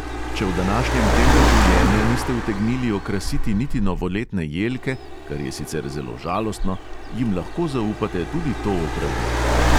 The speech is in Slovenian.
Če v današnjem tempu življenja niste utegnili okrasiti niti novoletne jelke, kar je sicer zelo žalostno, jim lahko zaupate tudi to opravilo.